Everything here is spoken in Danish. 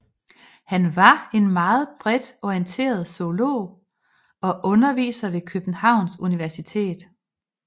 Han var en meget bredt orienteret zoolog og underviser ved Københavns Universitet